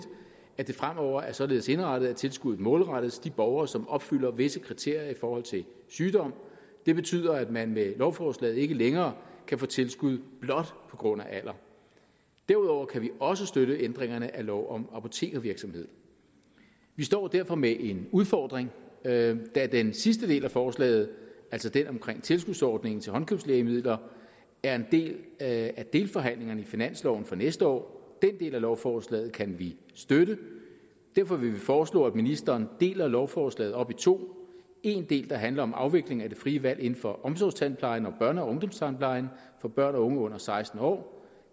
at det fremover er således indrettet at tilskuddet målrettes de borgere som opfylder visse kriterier i forhold til sygdom det betyder at man med lovforslaget ikke længere kan få tilskud blot på grund af alder derudover kan vi også støtte ændringerne af lov om apotekervirksomhed vi står derfor med en udfordring da da den sidste del af forslaget altså den om tilskudsordningen til håndkøbslægemidler er en del af delforhandlingerne om finansloven for næste år den del af lovforslaget kan vi støtte derfor vil vi foreslå at ministeren deler lovforslaget op i to en del der handler om afviklingen af det frie valg inden for omsorgstandplejen og børne og ungdomstandplejen for børn og unge under seksten år